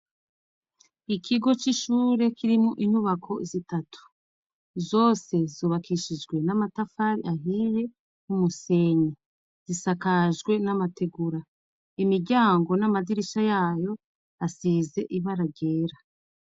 Ikigo c'ishure kirimo inyubako zitatu. Zose zubakishijwe n'amatafari ahiye n'umusenyi. Zisakajwe n'amategura. Imiryango n'amadirisha yayo asize ibara ryera.